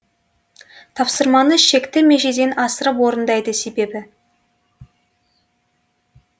тапсырманы шекті межеден асырып орындайды себебі